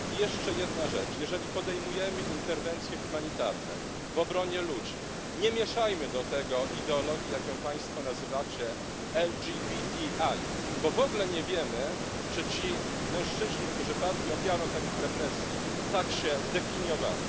Jeszcze jedna rzecz Jeżeli podejmujemy interwencje humanitarne w obronie ludzi, nie mieszajmy do tego ideologii jak ją państwo nazywacie LGBTI, bo w ogóle nie wiemy, czy ci mężczyźni, którzy padli ofiarą takich represji, tak się definiowali.